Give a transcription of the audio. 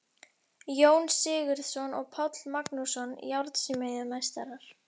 Jón Sigurðsson og Páll Magnússon, járnsmíðameistarar.